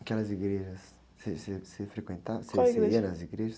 Aquelas igrejas, você, você, você frequenta, você ia nas igrejas?ual igreja?